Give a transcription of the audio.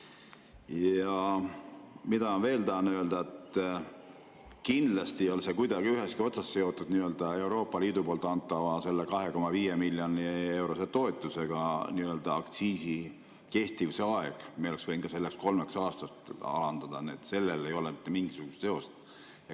Ja ma tahan veel öelda, et kindlasti ei ole see aktsiisi kehtivuse aeg kuidagi seotud Euroopa Liidu antava 2,5 miljoni eurose toetusega, me oleksime võinud ka kolmeks aastaks alandada, nii et sellel ei ole mitte mingisugust seost.